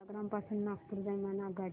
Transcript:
सेवाग्राम पासून नागपूर दरम्यान आगगाडी